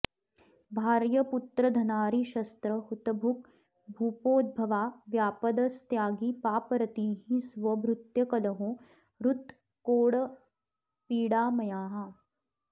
भार्य पुत्रधनारि शस्त्र हुतभुग् भूपोद्भवा व्यापद स्त्यागी पापरतिः स्व भृत्य कलहो हृत् क्रोड पीडामयाः